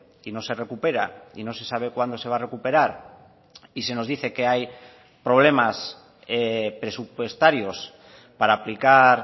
y no se recupera y no se sabe cuándo se va a recuperar y se nos dice que hay problemas presupuestarios para aplicar